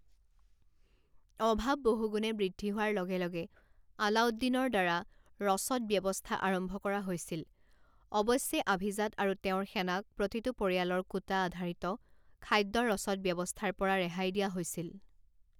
অভাৱ বহুগুণে বৃদ্ধি হোৱাৰ লগে লগে আলাউদ্দিনৰ দ্বাৰা ৰচদ ব্যৱস্থা আৰম্ভ কৰা হৈছিল অৱশ্যে আভিজাত আৰু তেওঁৰ সেনাক প্ৰতিটো পৰিয়ালৰ কোটা আধাৰিত খাদ্য ৰচদ ব্যৱস্থাৰ পৰা ৰেহাই দিয়া হৈছিল।